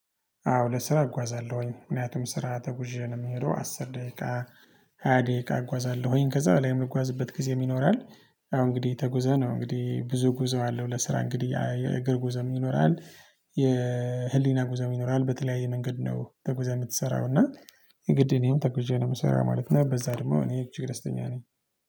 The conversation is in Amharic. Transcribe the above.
አዎ ለስራ እጓዛለሁኝ ምክንያቱም ስራ ተጉዤ ነው የሚሄደው አስር ደቂቃ ሃያ ደቂቃ እጓዛለሁኝ ከዛ በኋላ የምጓዝበት ጊዜ ይኖራል። አሁን እንግዲህ ተጉዘን ነው እንግዲህ ብዙ ጉዞ አለ ለስራ እንግዲህ የእግር ጉዞ ይኖራል። የህሊና ጉዞም ይኖራል በተለያየ መንገድ ነው ተጉዘህ የምትሰራው እና የግድ እኔም ተጉዤ ነው ምሰራው ማለት ነው። በዛ ደግሞ እኔ እችግ ደስተኛ ነኝ።